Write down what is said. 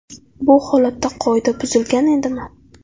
Bu holatda qoida buzilgan edimi?